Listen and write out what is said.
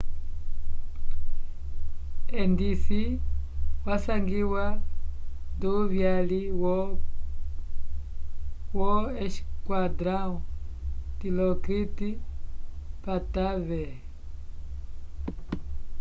endisi wasangiwa nduvyali wo esquadrão dilokrit pattavee